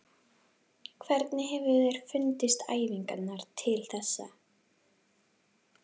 Hvernig hefur þér fundist æfingarnar til þessa?